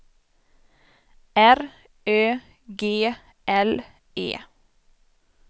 R Ö G L E